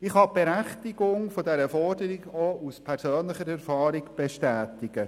Ich kann die Berechtigung dieser Forderung auch aus persönlicher Erfahrung bestätigen.